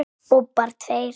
Bobbar tveir.